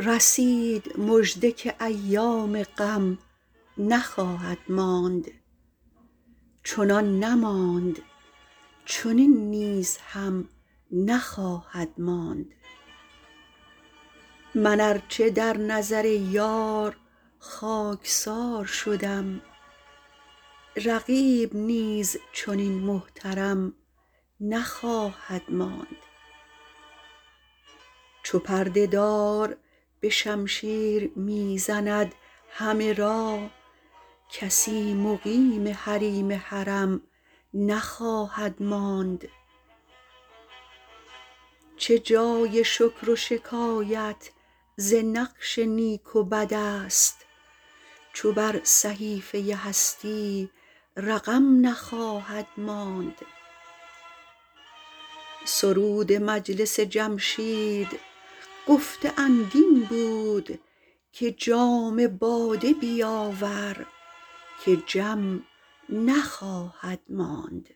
رسید مژده که ایام غم نخواهد ماند چنان نماند چنین نیز هم نخواهد ماند من ار چه در نظر یار خاک سار شدم رقیب نیز چنین محترم نخواهد ماند چو پرده دار به شمشیر می زند همه را کسی مقیم حریم حرم نخواهد ماند چه جای شکر و شکایت ز نقش نیک و بد است چو بر صحیفه هستی رقم نخواهد ماند سرود مجلس جمشید گفته اند این بود که جام باده بیاور که جم نخواهد ماند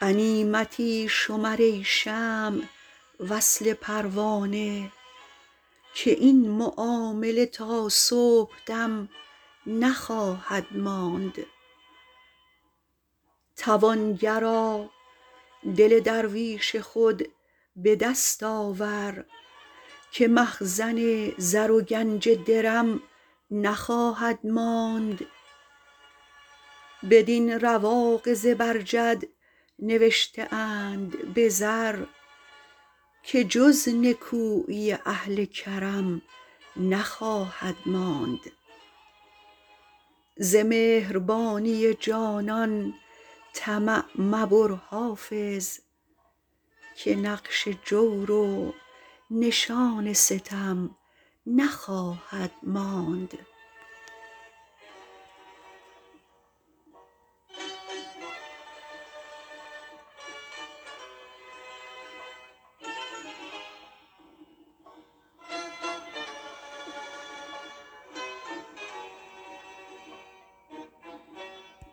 غنیمتی شمر ای شمع وصل پروانه که این معامله تا صبح دم نخواهد ماند توانگرا دل درویش خود به دست آور که مخزن زر و گنج درم نخواهد ماند بدین رواق زبرجد نوشته اند به زر که جز نکویی اهل کرم نخواهد ماند ز مهربانی جانان طمع مبر حافظ که نقش جور و نشان ستم نخواهد ماند